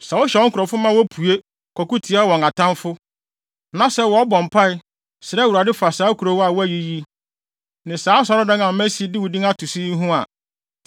“Sɛ wohyɛ wo nkurɔfo ma wopue, kɔko tia wɔn atamfo, na sɛ wɔbɔ mpae, srɛ Awurade fa saa kurow yi a woayi yi, ne saa Asɔredan a masi de wo din ato so yi ho a,